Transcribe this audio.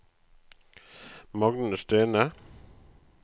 Magne Stene